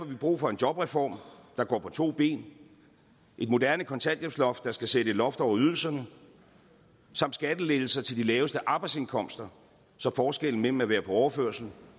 vi brug for en jobreform der går på to ben et moderne kontanthjælpsloft der skal sætte et loft over ydelserne samt skattelettelser til de laveste arbejdsindkomster så forskellen mellem at være på overførsel